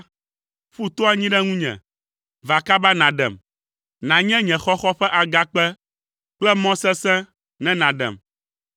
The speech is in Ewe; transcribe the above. Ƒu to anyi ɖe ŋunye, va kaba nàɖem, nànye nye xɔxɔ ƒe agakpe kple mɔ sesẽ ne nàɖem.